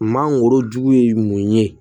Mangorojugu ye mun ye